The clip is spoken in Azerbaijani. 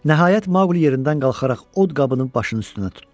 Nəhayət Maqli yerindən qalxaraq od qabını başının üstünə tutdu.